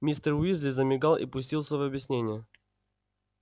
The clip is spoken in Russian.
мистер уизли замигал и пустился в объяснения